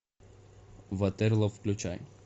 ватерлоо включай